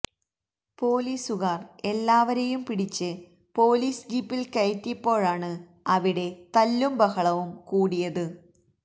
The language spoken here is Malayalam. പൊലീസുകാർ എല്ലാവരെയും പിടിച്ച് പൊലീസ് ജീപ്പിൽ കയറ്റിയപ്പോഴാണ് അവിടെ തല്ലും ബഹളവും കൂടിയത്